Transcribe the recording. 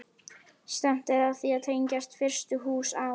Stefnt er að því að tengja fyrstu hús á